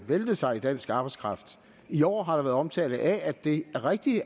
væltede sig i dansk arbejdskraft i år har der været omtale af det rigtige i